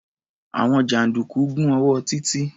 Àwọn jàǹdùkú gún ọwọ́ Títí.